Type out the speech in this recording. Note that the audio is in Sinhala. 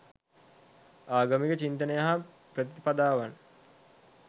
ආගමික චින්තනය හා ප්‍රතිපදාවන්